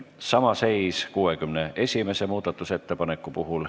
Sama seis on 61. muudatusettepanekuga.